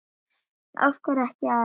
Af hverju ekki Arnór?